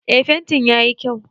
Eh fentin yayi kyau